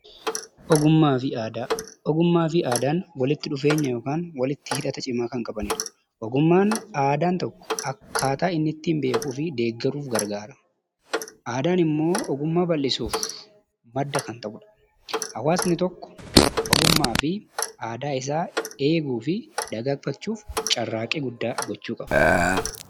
Ogummaa fi aadaan walitti dhufeenya yookiin walitti hidhata cimaa kan qabanidha. Ogummaan aadaa tokko akkaataan ittiin beekuu fi deeggaruuf gargaara. Aadaan immoo ogummaa bal'isuuf madda kan ta'udha. Hawaasni tokko ogummaa fi aadaa isaa eeguu fi dagaagfachuuf carraaqqii guddaa gochuu qaba.